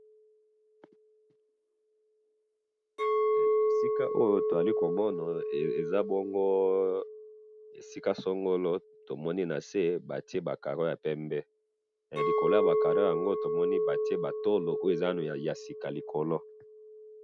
esika oyo tozali komona, eza bongo esika songolo, tomoni nase batie ba carreaux ya pembe, likolo yaba carreaux yango, tomoni batie ba tolo, oyo eza ya sika likolo